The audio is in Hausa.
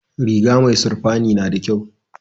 Riga mai sirfani nada kyau